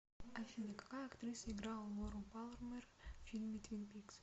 афина какая актриса играла лору палмер в фильме твин пикс